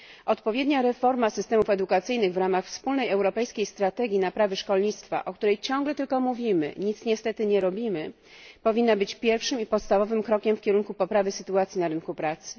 Odpowiednia reforma systemów edukacyjnych w ramach wspólnej europejskiej strategii naprawy szkolnictwa, o której ciągle tylko mówimy, a nic niestety nie robimy, powinna być pierwszym i podstawowym krokiem w kierunku poprawy sytuacji na rynku pracy.